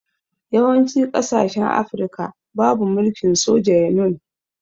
Yawanci kasashen afirka babu mulkin soja yanun